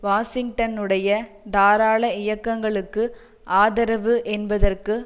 வாஷிங்டனுடைய தாராள இயக்கங்களுக்கு ஆதரவு என்பதற்கு